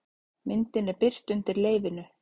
Myndin er birt undir leyfinu